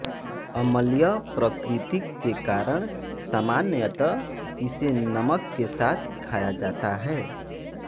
अम्लीय प्रकृति के कारण सामान्यत इसे नमक के साथ खाया जता है